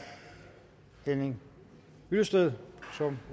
henning hyllested som